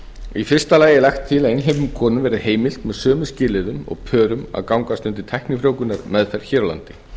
í fyrsta lagi er lagt til að einhleypum konum verði heimilt með sömu skilyrðum og pörum að gangast undir tæknifrjóvgunarmeðferð hér á landi